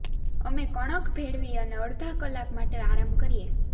અમે કણક ભેળવી અને અડધા કલાક માટે આરામ કરીએ